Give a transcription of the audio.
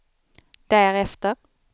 därefter